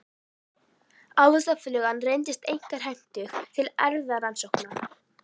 Ávaxtaflugan reyndist einkar hentug til erfðarannsókna.